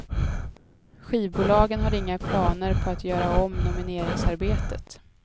Skivbolagen har inga planer på att göra om nomineringsarbetet.